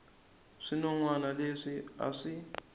swinon wana leswi a swi